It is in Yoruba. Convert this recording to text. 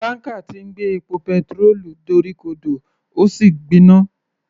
Tanker tí ń gbé epo petirólù dorí ko dò ó sì gbiná.